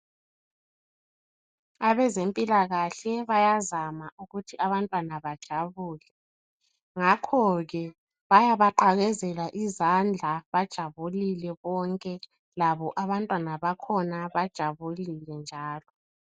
Abezempilakahle bayazama ukuthi abantwana bajabule. Ngakho ke bayabaqakezela izandla, bajabulile bonke labo abantwana bakhona, bajabulile njalo